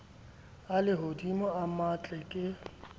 a lehodimo a matle ke